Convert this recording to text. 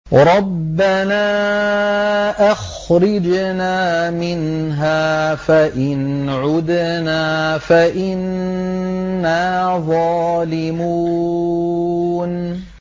رَبَّنَا أَخْرِجْنَا مِنْهَا فَإِنْ عُدْنَا فَإِنَّا ظَالِمُونَ